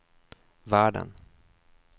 världen